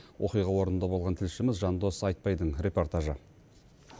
оқиға орнында болған тілшіміз жандос айтбайдың репортажы